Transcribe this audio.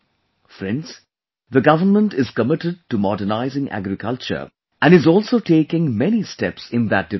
Friends, the government is committed to modernizing agriculture and is also taking many steps in that direction